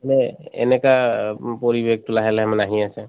এনে এনেকা অহ পৰিবেশ্টো লাহে লাহে মানে আহি আছে।